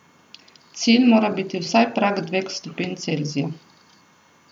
Cilj mora biti vsaj prag dveh stopinj Celzija.